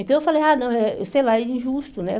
Então, eu falei, ah, não, sei lá, é injusto, né?